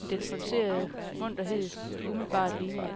end den forcerede munterhed, det umiddelbart lignede.